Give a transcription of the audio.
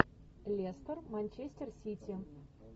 лестер манчестер сити